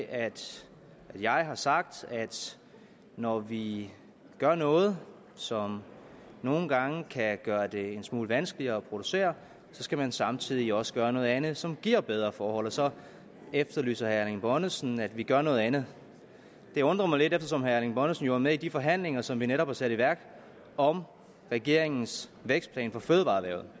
at jeg har sagt at når vi gør noget som nogle gange kan gøre det en smule vanskeligere at producere skal man samtidig også gøre noget andet som giver bedre forhold og så efterlyser herre erling bonnesen at vi gør noget andet det undrer mig lidt eftersom herre erling bonnesen jo er med i de forhandlinger som vi netop har sat i værk om regeringens vækstplan for fødevareerhvervet